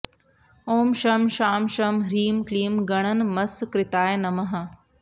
ॐ शं शां षं ह्रीं क्लीं गणनमस्कृताय नमः